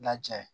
Laja